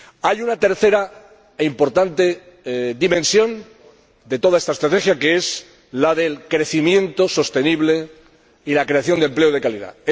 Hay una tercera e importante dimensión de toda esta estrategia, que es la del crecimiento sostenible y la creación de empleo de calidad.